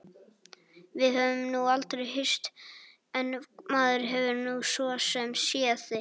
Við höfum nú aldrei hist en maður hefur nú svo sem séð þig.